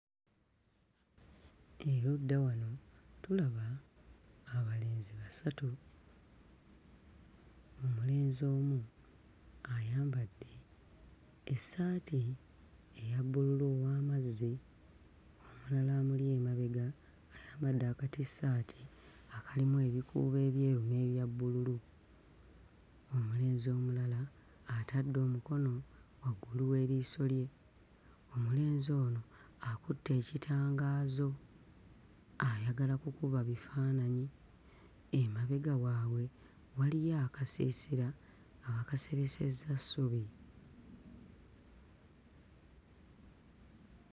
Erudda wano tulaba abalenzi basatu: omulenzi omu ayambadde essaati eya bbululu ow'amazzi, omulala amuli emabega ayambadde akatissaati akalimu ebikuubo ebyeru n'ebya bbululu, omulenzi omulala atadde omukono waggulu w'eriiso lye. Omulenzi ono akutte ekitangaazo ayagala kukuba bifaananyi, emabega waabwe waliyo akasiisira, baakaseresezza ssubi.